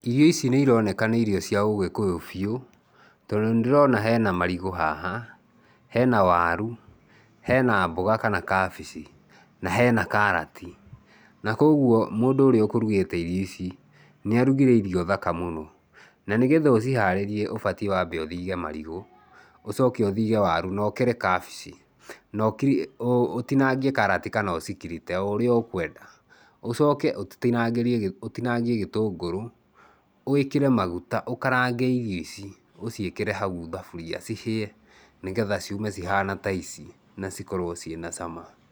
Irio ici ni ironeka nĩ irio cia ũgĩkũyũ biũ, tondũ nĩndĩrona hena marigũ haha, hena waru, hena mboga kana kabici na hena karati na kwoguo mũndũ ũrĩa ũkũrugĩte irio ici, nĩarugire irio thaka mũno. Na nĩgetha ũciharĩrie ũbatiĩ wambe ũthige marigũ, ũcoke ũthige waru na ũkere kabici na ũtinangĩe karati kana ũcikirite, o ũrĩa ũkwenda. Ũcoke ũ ũtinangie gĩtũngũrũ, wĩkĩre maguta, ũkarange irio ici ũciĩkĩre hau thaburia cihĩe nĩgetha ciume cihana ta ici na cikorwo ciĩna cama.